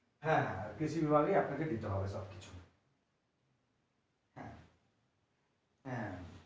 হ্যাঁ কৃষি বিভাগ এ আপনাকে দিতে হবে সবকিছু হ্যাঁ হ্যাঁ হ্যাঁ।